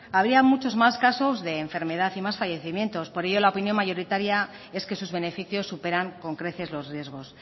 habría muchos más casos de enfermedad y más fallecimientos por ello la opinión mayoritaria es que sus beneficios superan con creces los riesgos